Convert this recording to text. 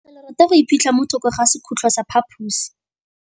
Legôtlô le rata go iphitlha mo thokô ga sekhutlo sa phaposi.